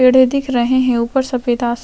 पेड़े दिख रहे है ऊपर सफेद आस--